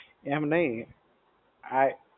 એમ નહિ. આ